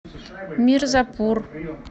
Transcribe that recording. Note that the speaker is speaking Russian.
мирзапур